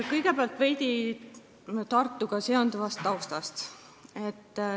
Kõigepealt veidi Tartuga seonduvast taustast.